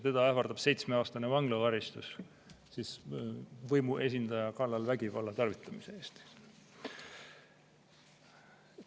Teda ähvardab seitsmeaastane vanglakaristus võimuesindaja kallal vägivalla tarvitamise eest.